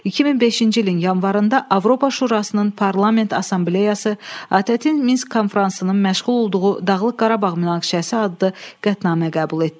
2005-ci ilin yanvarında Avropa Şurasının Parlament Assambleyası ATƏT-in Minsk konfransının məşğul olduğu Dağlıq Qarabağ münaqişəsi adlı qətnamə qəbul etdi.